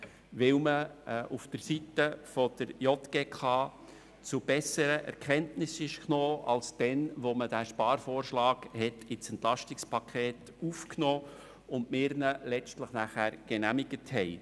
Dies, weil man seitens der JGK zu besseren Erkenntnissen gelangte, als man sie damals hatte, als dieser Sparvorschlag ins Entlastungspaket (EP) aufgenommen und letztlich von uns genehmigt wurde.